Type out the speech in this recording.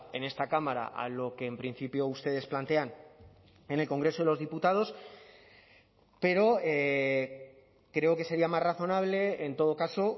en esta cámara a lo que en principio ustedes plantean en el congreso de los diputados pero creo que sería más razonable en todo caso